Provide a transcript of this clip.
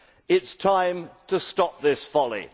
It is time to stop this folly.